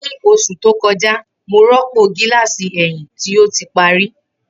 Ni oṣu to kọja, Mo rọpo gilasi ẹhin ti o ti pari.